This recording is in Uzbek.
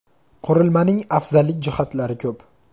Qurilmaning afzallik jihatlari ko‘p.